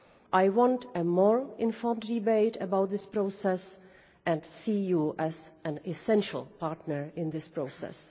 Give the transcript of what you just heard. I want a more informed debate about this process and I see you as an essential partner in this process.